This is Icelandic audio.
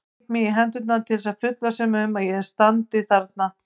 Klíp mig í hendurnar til að fullvissa mig um að ég standi þarna.